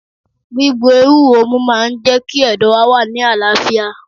Gbígbo ewúro mú máa ń jẹ́ kí ẹ̀dọ̀ wá wà ní àlàáfíà